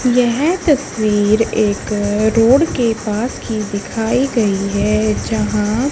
यह तस्वीर एक रोड के पास की दिखाई गई है जहां--